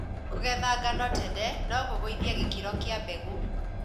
kũgeethangano trnr nokũgũithie gĩkĩro kĩa mbegũ.